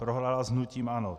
Prohrála s hnutím ANO.